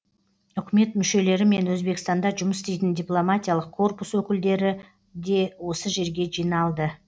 үкімет мүшелері мен өзбекстанда жұмыс істейтін дипломатиялық корпус өңілдері де осы жерге жиналды